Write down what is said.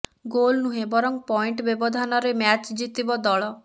goal ନୁହେଁ ବରଂ point ବ୍ୟବଧାନରେ ମ୍ୟାଚ୍ ଜିତିବ ଦଳ